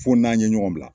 Fo n'an ye ɲɔgɔn bila